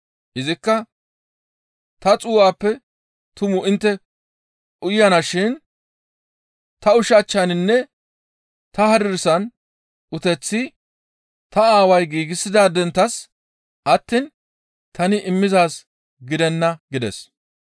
Izikka, «Ta xuu7aappe tumu intte uyanashin ta ushachchaninne ta hadirsan uteththi ta Aaway giigsidaadenttas attiin tani immizaaz gidenna» gides.